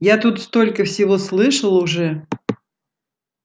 я тут столько всего слышал уже